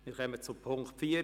Wir kommen zum Punkt 4.